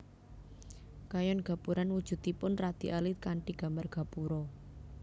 Kayon Gapuran wujudipun radi alit kanthi gambar gapura